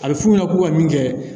A bɛ fu ɲɛna ko ka min kɛ